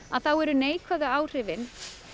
eru neikvæðu áhrifin